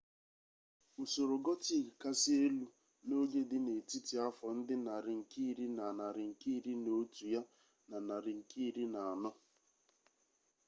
usoro gotik kasị elu n'oge dị n'etiti afọ ndị nari nke ir na narị nke iri na otu ya na narị nke iri na anọ